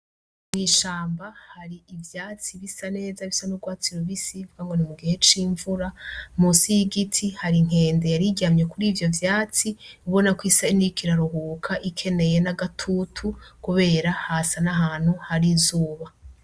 Mw'ishamba hari ivyatsi bisa neza, bisa n'urwatsi novuga ngo ni mu gihe c'imvura. Munsi y'igiti hari inkende yaramye kuri ivyo vyatsi, ubona ko isa nk'iriko iraruhuka, ikeneye n'agatutu kubera hasa n'ahantu hari izuba.